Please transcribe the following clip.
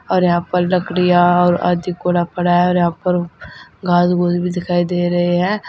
और यहां पर लकड़िया और पड़ा है और यहां पर घास पुस भी दिखाई दे रहे हैं।